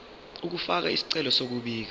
ukufaka isicelo sokubika